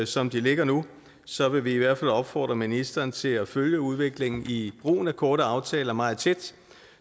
som de ligger nu så vil vi i hvert fald opfordre ministeren til at følge udviklingen i brugen af korte aftaler meget tæt